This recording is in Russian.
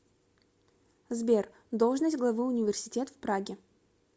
сбер должность главы университет в праге